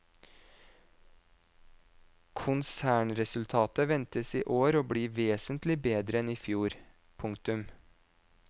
Konsernresultatet ventes i år å bli vesentlig bedre enn i fjor. punktum